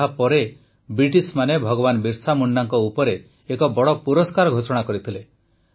ଯାହାପରେ ବ୍ରିଟିଶମାନେ ଭଗବାନ ବିର୍ସା ମୁଣ୍ଡାଙ୍କ ଉପରେ ଏକ ବଡ଼ ପୁରସ୍କାର ଘୋଷଣା କରିଥିଲେ